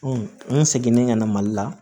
n seginnen ka na mali la